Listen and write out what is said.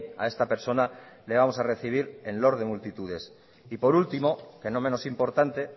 a esta persona le vamos a recibir en loor de multitudes y por ultimo que no menos importante